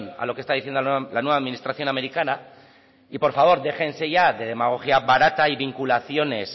a lo que está diciendo la nueva administración americana y por favor déjense ya de demagogia barata y vinculaciones